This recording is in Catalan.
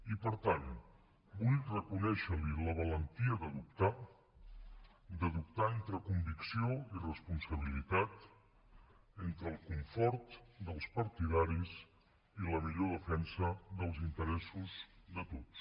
i per tant vull reconèixer li la valentia de dubtar de dubtar entre convicció i responsabilitat entre el confort dels partidaris i la millor defensa dels interessos de tots